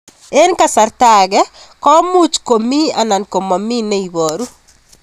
Eng' kasarta ag'e ko much ko mii anan komamii ne ibaru